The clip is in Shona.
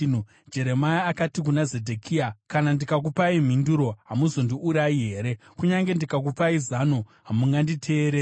Jeremia akati kuna Zedhekia, “Kana ndikakupai mhinduro, hamuzondiurayi here? Kunyange ndikakupai zano, hamunganditeereri.”